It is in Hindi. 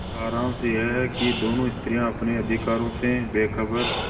सारांश यह कि दोनों स्त्रियॉँ अपने अधिकारों से बेखबर